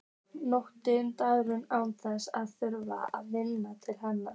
Njóta aðdáunar án þess að þurfa að vinna til hennar.